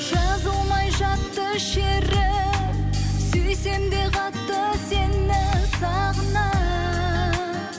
жазылмай жатты шері сүйсем де қатты сені сағына